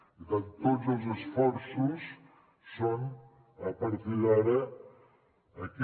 per tant tots els esforços són a partir d’ara aquest